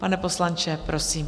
Pane poslanče, prosím.